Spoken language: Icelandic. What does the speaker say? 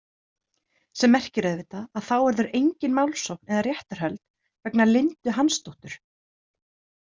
Sem merkir auðvitað að þá verður engin málsókn eða réttarhöld vegna Lindu Hansdóttur.